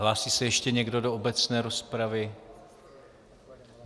Hlásí se ještě někdo do obecné rozpravy?